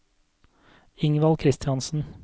Ingvald Kristiansen